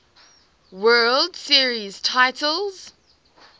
world series titles